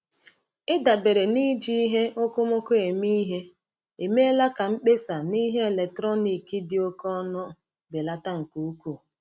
Ịdabere n’iji ihe okomoko eme ihe emeela ka mkpesa n’ihe eletrọnịkị dị oke ọnụ belata nke ukwuu.